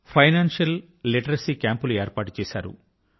financial literacy ఆర్థిక అక్షరాస్యత క్యాంపులు ఏర్పాటు చేశారు